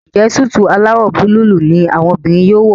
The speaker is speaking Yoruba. Njé Súìtì alawọ Búlúù ní àwọn obìrin yóò wọ?